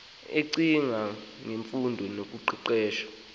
ecinga ngemfundo noqeqesho